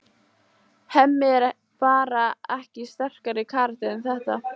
Hemmi er bara ekki sterkari karakter en þetta.